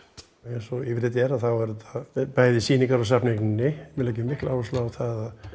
eins og yfirleitt er er þetta bæði sýning á við leggjum mikla áherslu á það